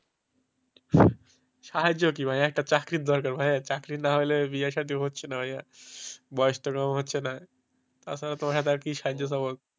সহজ কি ভাই একটা চাকরি দরকার ভাইয়ের চাকরি নাই তাহলে বিয়ে-শাদী হচ্ছে না ভাইয়া বয়স তো কম হচ্ছে না তাছাড়া তোমার কাছ থেকে কি সাহায্য নেবো?